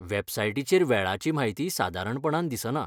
वेबसाइटीचेर वेळाची म्हायती सादारणपणान दिसना.